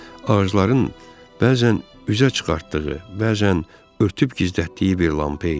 Ağacların bəzən üzə çıxartdığı, bəzən örtüb gizlətdiyi bir lampa idi.